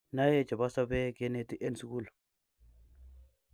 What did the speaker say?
nae chebo sobee keneti en sukul